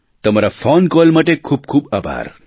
તમારાં phone call માટે ખૂબખૂબ આભાર